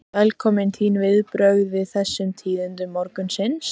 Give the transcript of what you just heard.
Velkominn, þín viðbrögð við þessum tíðindum morgunsins?